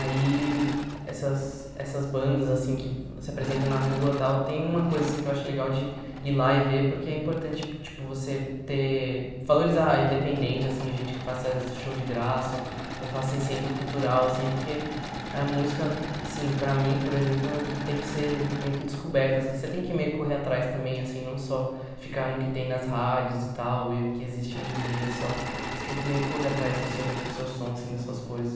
Aí, essas essas bandas, assim, que se apresentam na rua e tal, tem uma coisa, assim, que eu acho legal de ir lá e ver, porque é importante, tipo, você ter, valorizar independente, assim, gente que faça show de graça ou faça em centro cultural, assim, porque a música, assim, para mim, por exemplo, tem que ser meio que descoberta, assim, você tem que meio que correr atrás também, assim, não só ficar no que tem nas rádios e tal, e que existe hoje em dia, só, você tem que meio que correr atrás do seu seu som, assim, das suas coisas.